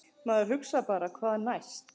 Maður hugsar bara hvað næst?!